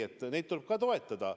Vastupidi, neid tuleb ka toetada.